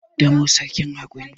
damo sarkin hakuri